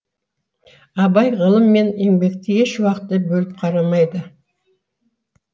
абай ғылым мен еңбекті еш уақытта бөліп қарамайды